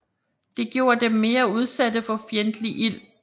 Det gjorde dem mere udsatte for fjendtlig ild